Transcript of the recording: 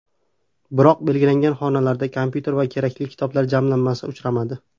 Biroq belgilangan xonalarda kompyuter va kerakli kitoblar jamlanmasi uchramadi.